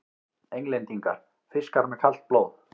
Englendingar: fiskar með kalt blóð!